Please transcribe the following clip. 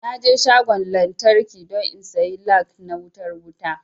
Naje shagon lantraki don in sayi lag na wayar wuta